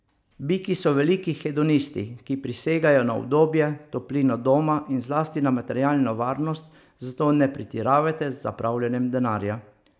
Biki so veliki hedonisti, ki prisegajo na udobje, toplino doma in zlasti na materialno varnost, zato ne pretiravajte z zapravljanjem denarja.